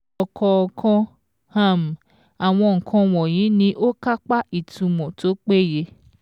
Ọ̀kọ̀ọ̀kan um àwọn nǹkan wọ̀nyí ni ó kápá ìtumọ̀ tó péye.